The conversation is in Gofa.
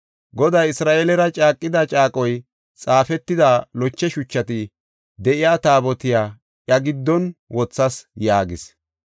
Goday Isra7eelera caaqida caaqoy xaafetida loche shuchati de7iya Taabotiya iya giddon wothas” yaagis.